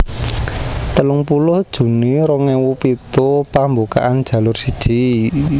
telung puluh juni rong ewu pitu pambukaan Jalur siji